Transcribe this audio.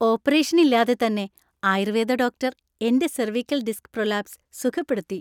Operation ഇല്ലാതെത്തന്നെ Ayurveda doctor എന്‍റെ cervical disc prolapse സുഖപ്പെടുത്തി.